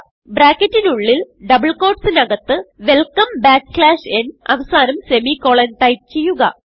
ബ്രാക്കറ്റിനുള്ളിൽ double quote സിന് അകത്ത് വെൽക്കം ബാക്ക്സ്ലാഷ് ന് അവസാനം സെമിക്കോളൻ ടൈപ്പ് ചെയ്യുക